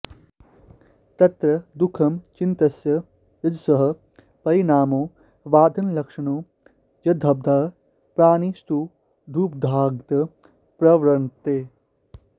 तत्र दुःखं चित्तस्य रजसः परिणामो बाधनालक्षणो यद्बाधात् प्राणिनस्तदुपघाताय प्रवर्तन्ते